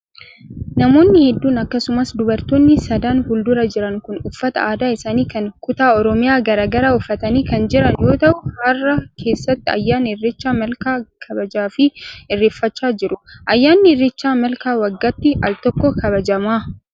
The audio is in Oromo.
Namoonni hedduun akkasumas dubartoonni sadan fuuldura jiran kun uffata aadaa isaanii kan kutaa Oromiyaa garaa garaa uffatanii kan jiran yoo ta'u, hara keessatti ayyaana irreecha malkaa kabajaa fi irreeffachaa jiru. Ayyaanni irreecha malkaa waggaatti al tokko kabajama.